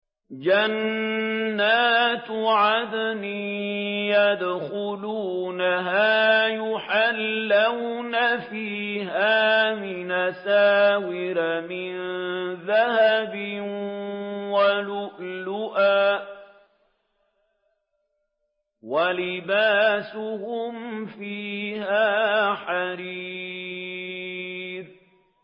جَنَّاتُ عَدْنٍ يَدْخُلُونَهَا يُحَلَّوْنَ فِيهَا مِنْ أَسَاوِرَ مِن ذَهَبٍ وَلُؤْلُؤًا ۖ وَلِبَاسُهُمْ فِيهَا حَرِيرٌ